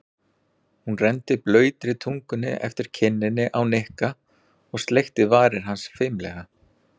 Hún renndi blautri tungunni eftir kinninni á Nikka og sleikti varir hans fimlega.